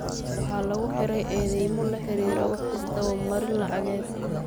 Waxaa lagu xiray eedeymo la xiriira wax isdaba marin lacageed.